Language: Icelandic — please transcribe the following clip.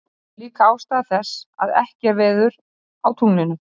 þetta er líka ástæða þess að ekki er veður á tunglinu